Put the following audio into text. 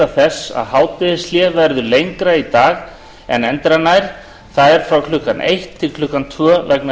þess að hádegishlé verður lengra í dag en endranær það er frá klukkan eitt til klukkan tvö vegna